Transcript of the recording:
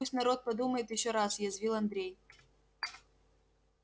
пусть народ подумает ещё раз язвил андрей